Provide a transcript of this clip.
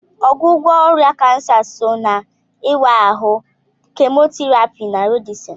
Ọgwụgwọ ọrịa kansa so n'ịwa ahụ, Kemotherapy, na radieshon.